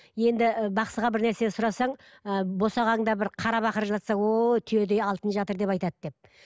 енді бақсыға бір нәрсе сұрасаң ы босағаңда бір қара бақыр жатса ооо түйедей алтын жатыр деп айтады деп